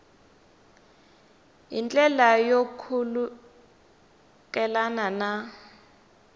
hi ndlela yo khulukelana na